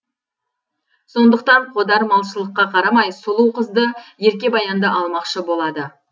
сондықтан қодар малшылыққа қарамай сұлу қызды ерке баянды алмақшы болады